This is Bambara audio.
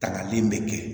Tangali bɛ kɛ